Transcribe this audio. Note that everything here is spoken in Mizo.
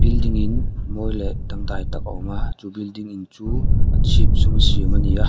building in mawi leh dangdai tak a awm a chu building in chu a chhip zum siam ani a.